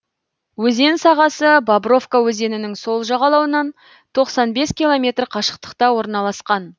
өзен сағасы бобровка өзенінің сол жағалауынан тоқсан бес километр қашықтықта орналасқан